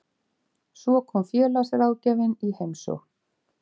Svo kom félagsráðgjafinn í heimsókn.